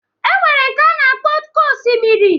E nwere nke a na-akpọ oké osimiri